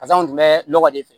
Pasa tun bɛ nɔgɔ de fɛ